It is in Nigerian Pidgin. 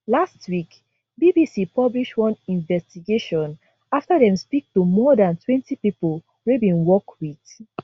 last week bbc publish one investigation afta dem speak to more dantwentypipo wey bin work wit